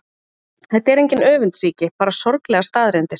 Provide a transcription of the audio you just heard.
Þetta er engin öfundsýki, bara sorglegar staðreyndir.